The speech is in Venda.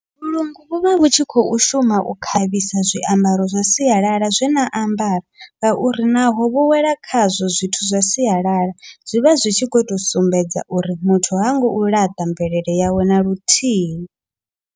Vhulungu vhuvha vhu tshi khou shuma u khavhisa zwiambaro zwa sialala zwena ambara, ngauri naho vho wela khazwo zwithu zwa sialala zwivha zwi tshi khou tou sumbedza uri muthu hango u laṱa mvelele yawe naluthihi.